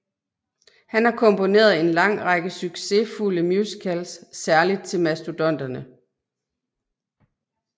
Han har komponeret en lang række succesfulde musicals særligt til Mastodonterne